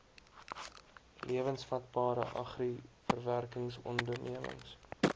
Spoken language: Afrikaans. lewensvatbare agri verwerkingsondernemings